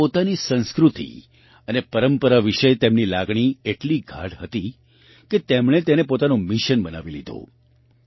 પરંતુ પોતાની સંસ્કૃતિ અને પરંપરા વિશે તેમની લાગણી એટલી ગાઢ હતી કે તેમણે તેને પોતાનું મિશન બનાવી લીધું